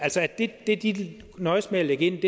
det de nøjes med at lægge ind